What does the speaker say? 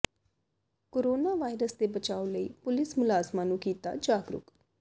corona virus ਦੇ ਬਚਾਓ ਲਈ ਪੁਲਿਸ ਮੁਲਾਜ਼ਮਾਂ ਨੂੰ ਕੀਤਾ ਜਾਗਰੂਕ